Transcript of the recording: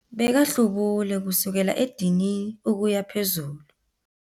Bekahlubule kusukela edinini ukuya phezulu.